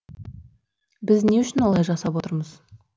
біз не үшін олай жасап отырмыз